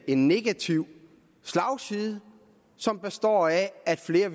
en negativ slagside som består i at flere